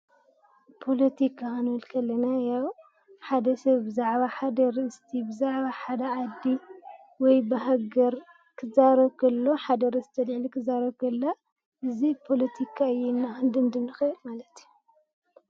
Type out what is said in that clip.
ፖለቲካ ክንብል ከለና ያው ሓደ ሰብ ብዛዕባ ሓደ ኣርእስቲ ፣ብዛዕባ ሓደ ዓዲ ወይ ሃገር ክዛረብ ኸሎ ሓደ ኣርእስቲ ኣልዒሉ ኽዛረብ ከሎ ያው ፖለቲካ እዩ።